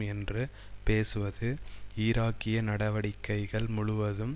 என்று பேசுவது ஈராக்கிய நடவடிக்கைகள் முழுவதும்